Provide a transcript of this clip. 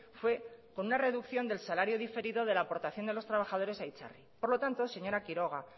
fue con una reducción del salario diferido de la aportación de los trabajadores a itzarri por lo tanto señora quiroga